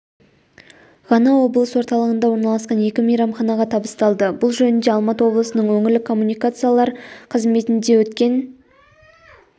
ғана облыс орталығында орналасқан екі мейрамханаға табысталды бұл жөнінде алматы облысының өңірлік коммуникациялар қызметінде өткен